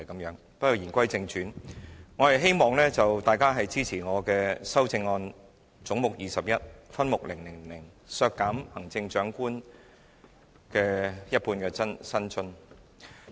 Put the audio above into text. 不過，言歸正傳，我希望大家支持我的修正案，是就總目 21， 分目 000， 削減行政長官的一半薪津預算。